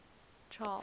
charles